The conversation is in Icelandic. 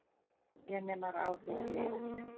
þegja nema á þig sé yrt.